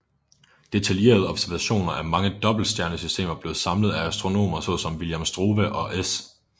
Detaljerede observationer af mange dobbeltstjernesystemer blev samlet af astronomer såsom William Struve og S